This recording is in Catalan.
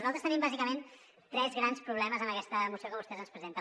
nosaltres tenim bàsicament tres grans problemes en aquesta moció que vostès ens presenten